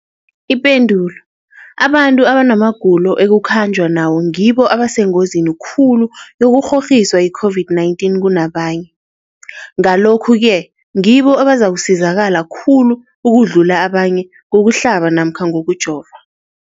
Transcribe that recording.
Ipendulo, abantu abanamagulo ekukhanjwa nawo ngibo abasengozini khulu yokukghokghiswa yi-COVID-19 kunabanye, Ngalokhu-ke ngibo abazakusizakala khulu ukudlula abanye ngokuhlaba namkha ngokujova.